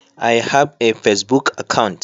I have a pacebook account.